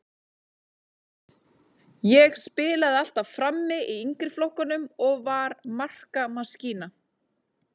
Ég spilaði alltaf frammi í yngri flokkunum og var markamaskína.